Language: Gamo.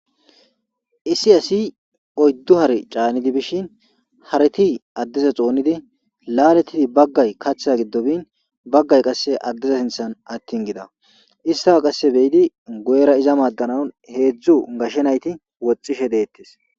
isi asi oyddu hare caanidi bishin hareti addeza xoonidi laaletidi baggay kachtha gidobin baggay qasse addeza sinthan attin gida istaa qasse beyidi goyera iza maaddanaun heedzdzu gashe nayti woxishe deettes